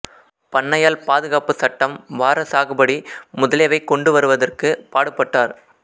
பண்ணையாள் பாதுகாப்புச் சட்டம் வார சாகுபடி முதலியவை கொண்டு வருவதற்கு பாடுபட்டார்